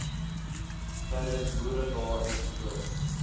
tydens boeredae ens